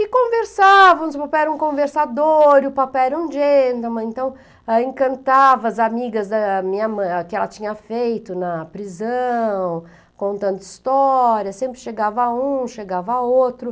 E conversávamos, o papai era um conversador e o papai era um gentleman, então encantava as amigas da minha mãe, que ela tinha feito na prisão, contando histórias, sempre chegava um, chegava outro.